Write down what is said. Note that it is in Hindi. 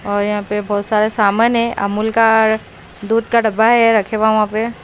और यहां पे बहोत सारे सामान हैं अमूल का दूध का डब्बा है रखे हुआ है वहां पे।